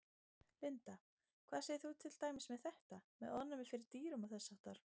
Linda: Hvað segir þú til dæmis með þetta, með ofnæmi fyrir dýrum og þess háttar?